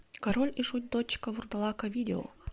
король и шут дочка вурдалака видео